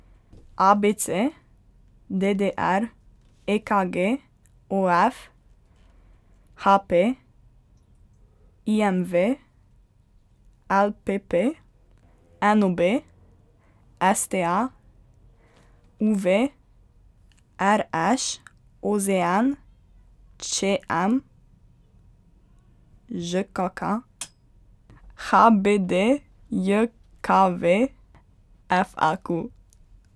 A B C; D D R; E K G; O F; H P; I M V; L P P; N O B; S T A; U V; R Š; O Z N; Č M; Ž K K; H B D J K V; F A Q.